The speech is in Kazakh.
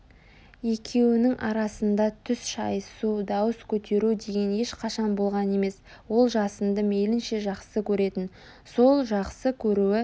екеуінің арасында түс шайысу дауыс көтеру деген ешқашан болған емес ол жасынды мейлінше жақсы көретін сол жақсы көруі